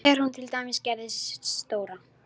Þegar hún til dæmis gerði stóra